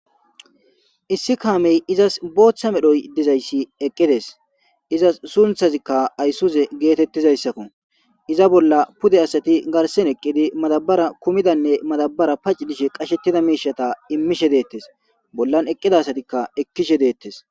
Issi kamey izas bota medhoy dizaysi eqides izas suntazika aysuze getetizaysakko iza bola pude asati garsan eqidi madabara kumidanne madabara pac'i dishe qashetida mishata imishe detes bolan eqida asatika ekishe detes.